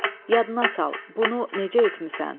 Yadına sal, bunu necə etmisən?